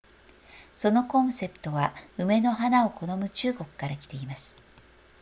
そのコンセプトは梅の花を好む中国から来ています